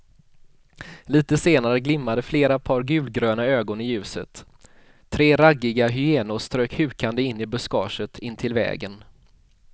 Litet senare glimmade flera par gulgröna ögon i ljuset, tre raggiga hyenor strök hukande in i buskaget intill vägen.